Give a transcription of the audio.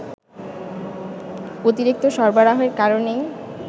অতিরিক্ত সরবরাহের কারণেই